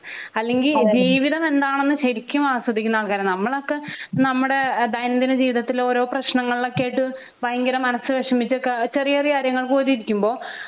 അല്ലെങ്കി ജീവിതം എന്താണെന്ന് ശെരിക്കും ആസ്വദിക്കുന്ന ആൾക്കാരാണ് നമ്മളൊക്കെ നമ്മുടെ ദൈന്യന്തിന ജീവിതത്തിൽ ഓരോ പ്രശ്നങ്ങളിലൊക്കെ ആയിട്ട് ഭയങ്കര മനസ്സ് വെഷമിച്ചൊക്കെ ചെറിയ ചെറിയ കാര്യങ്ങൾക്ക് പോലും ഇരിക്കുമ്പോ